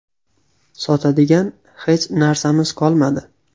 Sotadigan hech narsamiz qolmadi.